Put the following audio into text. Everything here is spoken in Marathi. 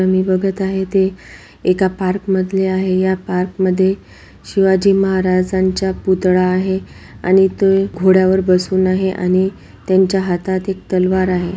आ मी बघत आहे इथे एका पार्क मधले आहे या पार्कमध्ये शिवाजी महाराजांच्या पुतळा आहे आणि इथे घोड्यावर बसून आहे आणि त्यांच्या हातात एक तलवार आहे.